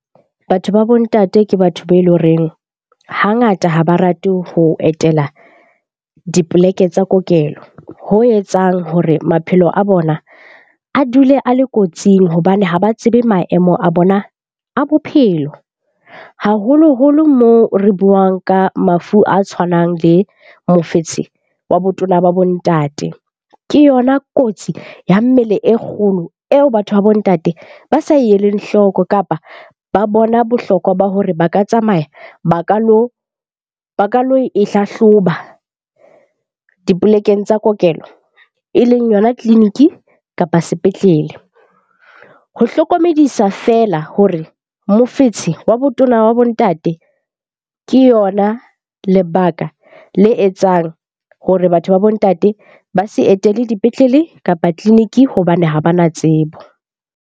Batho ba bo ntate ke batho be eleng horeng hangata ha ba rate ho etela dipoleke tsa kokelo. Ho etsang hore maphelo a bona a dule a le kotsing hobane ha ba tsebe maemo a bona a bophelo. Haholoholo moo re buang ka mafu a tshwanang le mofetshe wa botona ba bo ntate, ke yona kotsi ya mmele e kgolo eo batho ba bo ntate ba sa eleng hloko kapa ba bona bohlokwa ba hore ba ka tsamaya ba ka lo e hlahloba dipolekeng tsa kokelo e leng yona tleliniki kapa sepetlele. Ho hlokomedisa feela hore mofetshe wa botona wa bo ntate ke yona lebaka le etsang hore batho ba bo ntate ba se etele dipetlele kapa tleliniki hobane ha bana tsebo.